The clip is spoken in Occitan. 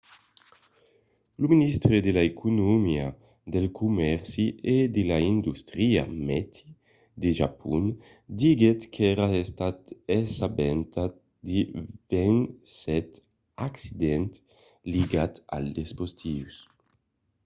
lo ministre de l'economia del comèrci e de l'industria meti de japon diguèt qu'èra estat assabentat de 27 accidents ligats als dispositius